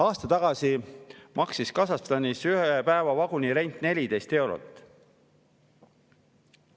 Aasta tagasi maksis Kasahstanis ühe päeva vagunirent 14 eurot.